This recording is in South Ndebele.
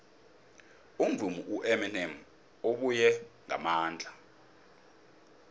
umvumi ueminem ubuye ngamandla